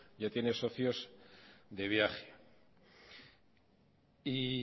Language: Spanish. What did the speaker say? ya tiene socios de viaje